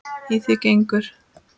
Í því gengur